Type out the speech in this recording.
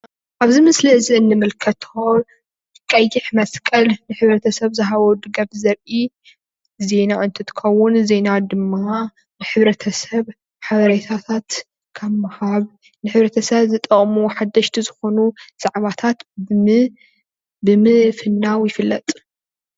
ኣብዚ ምስሊ እዚ እንምልከቶ ቀይሕ መስቀል ንሕብረተሰብ ዝሃቦ ድጋፍ ዘርኢ ዜና እንትትከዉን ዜና ድማ ሕብረተሰብ ሓበሬታት ካብ ምሃብ ንሕብረተሰብ ዝጠቅሙ ሓደሽቲ ዝኮኑ ዛዕባታት ብምፍናዉ ይፍለጥ።